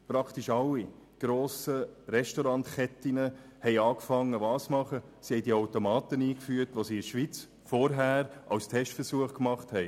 Praktisch alle grossen Restaurantketten fingen damit an, diejenigen Automaten einzuführen, die sie vorher in der Schweiz versuchsweise eingesetzt hatten.